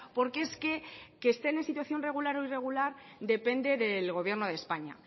porque es que estén en situación regular o irregular depende del gobierno de españa